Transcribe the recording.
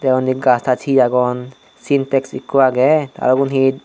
te undi gach tach he agon sintex ekko agey te ubon he.